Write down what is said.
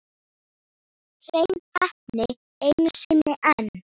Hrein heppni einu sinni enn.